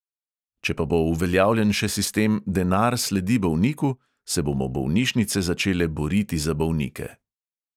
Če pa bo uveljavljen še sistem "denar sledi bolniku", se bomo bolnišnice začele boriti za bolnike.